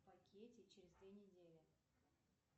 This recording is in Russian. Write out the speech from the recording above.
в пакете через две недели